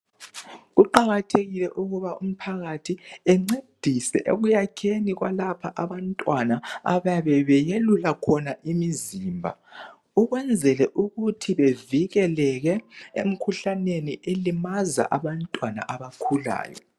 Kuqakathekile ukuba umphakathi encedise ekuyakheni kwalaba abantwana abayabe beyelula khona imizimba ukwenzela ukuthi bevikelele emikhuhlaneni elimaza abantwana abakhulayo.